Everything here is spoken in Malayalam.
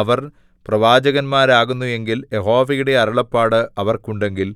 അവർ പ്രവാചകന്മാരാകുന്നു എങ്കിൽ യഹോവയുടെ അരുളപ്പാട് അവർക്കുണ്ടെങ്കിൽ